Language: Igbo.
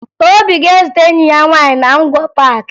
Obi ga-ezute enyi ya nwaanyị na Ngwo Paakị